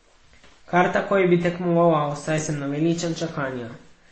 Kar takoj bi tekmoval, saj sem naveličan čakanja.